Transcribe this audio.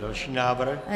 Další návrh.